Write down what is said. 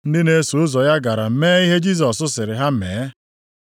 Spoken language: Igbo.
Ndị na-eso ụzọ ya gara mee ihe Jisọs sịrị ha mee.